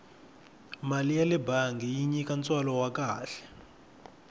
mali yale bangi yi nyika ntswalo wa kahle